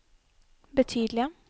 betydelige